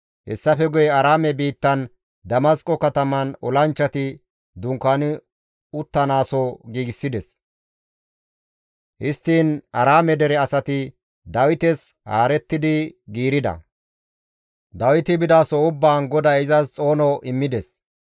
Hessafe guye Aaraame biittan Damasqo kataman olanchchati dunkaani uttanaaso giigsides; histtiin Aaraame dere asati Dawites haarettidi giirida; Dawiti bidaso ubbaan GODAY izas xoono immides.